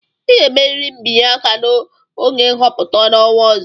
ị ga-emerịrị mbinye aka n'oge nhọpụta n'ọnwa ọzọ!